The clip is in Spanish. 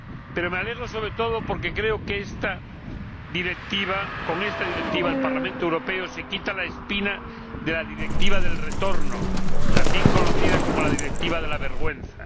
Pero me alegro, sobre todo, porque creo que con esta Directiva el Parlamento Europeo se quita la espina de la Directiva del retorno, también conocida como la Directiva de la vergüenza.